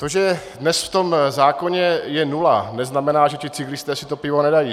To, že dnes v tom zákoně je nula, neznamená, že ti cyklisté si to pivo nedají.